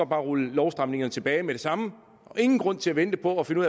bare rulle lovstramningerne tilbage med det samme der ingen grund til at vente på at finde